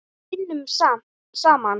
Við vinnum saman!